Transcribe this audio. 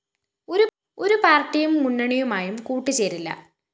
ഒരു പാര്‍ട്ടിയും മുന്നണിയുമായും കൂട്ടുചേരില്ല